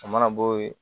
A mana bɔ yen